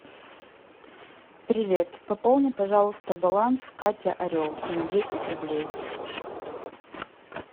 привет пополни пожалуйста баланс катя орел на десять рублей